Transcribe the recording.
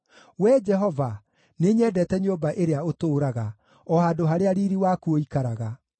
Wee Jehova, nĩnyendete nyũmba ĩrĩa ũtũũraga, o handũ harĩa riiri waku ũikaraga.